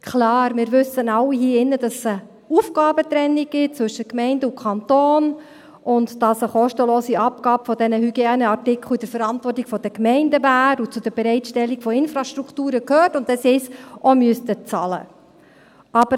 Klar, wir alle hier im Saal wissen, dass es eine Aufgabentrennung zwischen Gemeinden und Kanton gibt, dass eine kostenlose Abgabe dieser Hygieneartikel in der Verantwortung der Gemeinden wäre und zur Bereitstellung der Infrastrukturen gehört, und dass sie es auch bezahlen müssten.